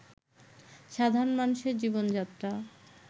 সাধারণ মানুষের জীবনযাত্রা